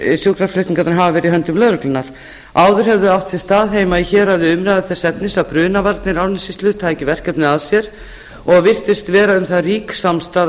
sjúkraflutningarnir hafa verið í höndum lögreglunnar áður höfðu átt sér stað heima í héraði umræður þess efnis að brunavarnir árnessýslu tækju verkefnið að sér og virtist vera um það rík samstaða